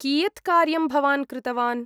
कियत् कार्यं भवान् कृतवान्?